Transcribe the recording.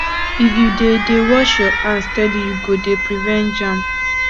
if you dey dey wash your hands steady you go dey prevent germs